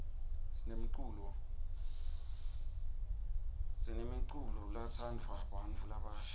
sinemculo tsatsanduwa bnatfu labasha